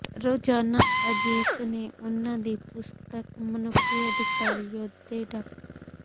ਰੋਜ਼ਾਨਾ ਅਜੀਤ ਨੇ ਉਹਨਾਂ ਦੀ ਪੁਸਤਕ ਮਨੁੱਖੀ ਅਧਿਕਾਰ ਯੋਧੇ ਡਾ